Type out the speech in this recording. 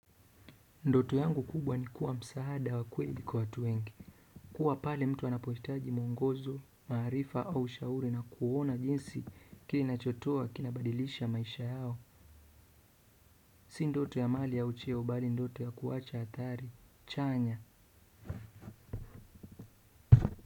Ndoto yangu kubwa ni kuwa msaada wa kweli kwa watu wengi kuwa pale mtu anapohitaji mwongozo, maarifa au ushauri na kuona jinsi kininachotoa kinabadilisha maisha yao si ndoto ya mali ya au cheo bali ndoto ya kuwacha hatari, chanya.